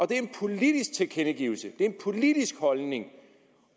det er en politisk tilkendegivelse det er en politisk holdning